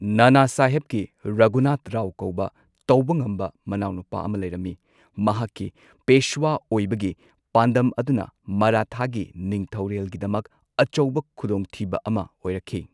ꯅꯥꯅꯥꯁꯥꯍꯦꯕꯀꯤ ꯔꯘꯨꯅꯥꯊꯔꯥꯎ ꯀꯧꯕ ꯇꯧꯕ ꯉꯝꯕ ꯃꯅꯥꯎꯅꯨꯄꯥ ꯑꯃ ꯂꯩꯔꯝꯃꯤ, ꯃꯍꯥꯛꯀꯤ ꯄꯦꯁ꯭ꯋꯥ ꯑꯣꯏꯕꯒꯤ ꯄꯥꯟꯗꯝ ꯑꯗꯨꯅ ꯃꯔꯥꯊꯥꯒꯤ ꯅꯤꯡꯊꯧꯔꯦꯜꯒꯤꯗꯃꯛ ꯑꯆꯧꯕ ꯈꯨꯗꯣꯡꯊꯤꯕ ꯑꯃ ꯑꯣꯏꯔꯛꯈꯤ꯫